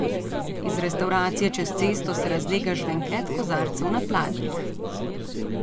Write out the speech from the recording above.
Iz restavracije čez cesto se razlega žvenket kozarcev na pladnjih.